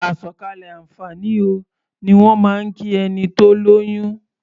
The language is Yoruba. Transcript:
"Àsọ̀kalẹ̀ àǹfààní o" ni wọ́n máa ń kí ẹni tó lóyún.